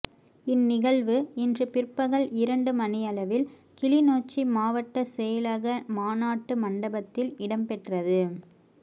இந் நிகழ்வு இன்று பிற்பகல் இரண்டு மணியளவில் கிளிநொச்சி மாவட்டச் செயலக மாநாட்டு மண்டபத்தில் இடம்பெற்றது